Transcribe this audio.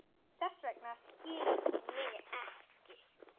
Þess vegna skilur þú mig ekki.